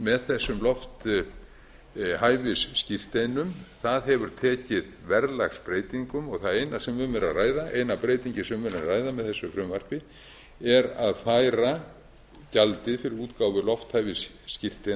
með þessum lofthæfisskírteinum það hefur tekið verðlagsbreytingum og það eina sem um er að ræða eina breytingin sem um er að ræða með þessu frumvarpi er að færa gjaldið fyrir útgáfu lofthæfisskírteina